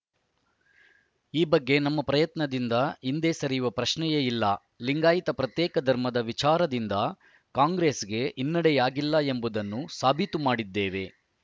ಈ ಬಗ್ಗೆ ನಮ್ಮ ಪ್ರಯತ್ನದಿಂದ ಹಿಂದೆ ಸರಿಯುವ ಪ್ರಶ್ನೆಯೇ ಇಲ್ಲ ಲಿಂಗಾಯತ ಪ್ರತ್ಯೇಕ ಧರ್ಮದ ವಿಚಾರದಿಂದ ಕಾಂಗ್ರೆಸ್‌ಗೆ ಹಿನ್ನಡೆಯಾಗಿಲ್ಲ ಎಂಬುದನ್ನೂ ಸಾಬೀತು ಮಾಡಿದ್ದೇವೆ